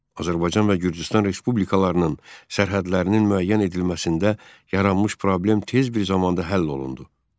Azərbaycan və Gürcüstan respublikalarının sərhədlərinin müəyyən edilməsində yaranmış problem tez bir zamanda həll olundu.